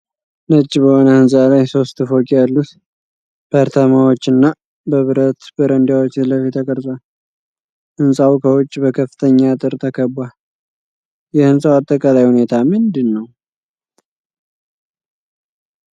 ነጭ በሆነ ህንፃ ላይ ሦስት ፎቅ ያሉት አፓርታማዎችና በብረት በረንዳዎች ፊትለፊት ተቀርጿል። ህንፃው ከውጭ በከፍተኛ አጥር ተከቧል። የሕንፃው አጠቃላይ ሁኔታ ምንድነው?